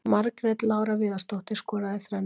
Margrét Lára Viðarsdóttir skoraði þrennu.